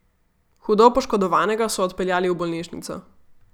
Hudo poškodovanega so odpeljali v bolnišnico.